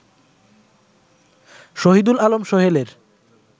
Shahidul Alam সোহেলের